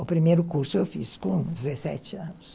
O primeiro curso eu fiz com dezessete anos.